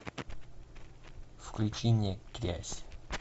включи мне грязь